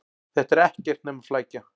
Þetta er ekkert nema flækja.